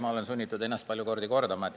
Ma olen sunnitud ennast palju kordi kordama.